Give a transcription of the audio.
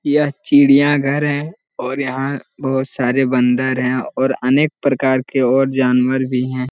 यह चिड़िया घर है और यहाँ बहुत सारे बन्दर है और अनेक प्रकार के और जानवर भी है|